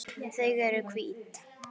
Þau eru hvít.